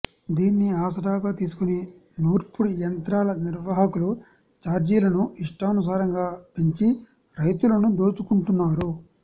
దీన్ని ఆసరాగా తీసుకొని నూర్పుడి యంత్రాల నిర్వాహకులు ఛార్జీలను ఇష్టానుసారంగా పెంచి రైతులను దోచుకుంటున్నారు